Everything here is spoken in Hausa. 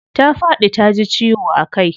Ta faɗi taji ciwo a kai.